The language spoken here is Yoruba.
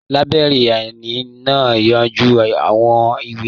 Làìbéríànì náà ń yanjú àwọn ìwé.